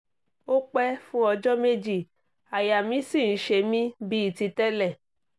ó pẹ́ fún ọjọ́ méjì àyà mi sì ń ṣe mí bíi ti tẹ́lẹ̀